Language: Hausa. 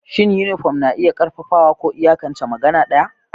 Shin yunifom na iya ƙarfafawa ko iyakance magana ɗaya?